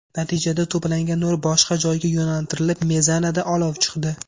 Natijada to‘plangan nur boshqa joyga yo‘naltirilib, mezanada olov chiqdi.